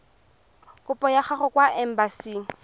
kopo ya gago kwa embasing